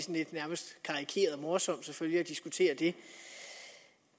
nærmest karikeret morsomt at diskutere det